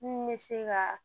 Mun bɛ se ka